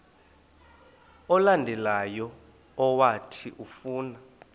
olandelayo owathi ufuna